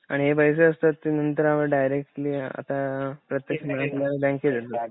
आणि हे पैसे असतात ते आपण डिरेक्टली आता प्रत्येक